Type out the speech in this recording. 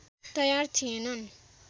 तयार थिएनन्